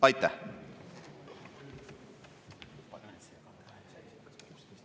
Aitäh!